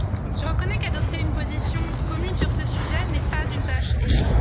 Je reconnais qu'adopter une position commune sur ce sujet n'est pas une tâche aisée.